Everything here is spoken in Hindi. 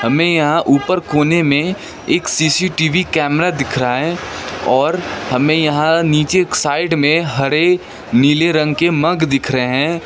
हमें यहां ऊपर कोने में एक सी_सी_टी_वी कैमरा दिख रहा है और हमें यहां नीचे एक साइड में हरे नीले रंग की मग दिख रहे हैं।